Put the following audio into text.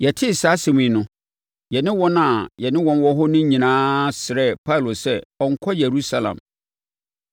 Yɛtee saa asɛm yi no, yɛne wɔn a na yɛne wɔn wɔ hɔ no nyinaa srɛɛ Paulo sɛ ɔnnkɔ Yerusalem.